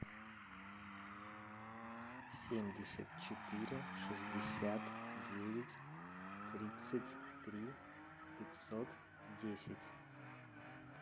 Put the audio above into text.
семьдесят четыре шестьдесят девять тридцать три пятьсот десять